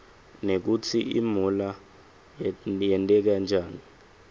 nekutsi imuula yerteka njani